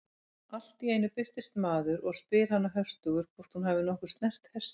Allt í einu birtist maður og spyr hana höstugur hvort hún hafi nokkuð snert hestinn.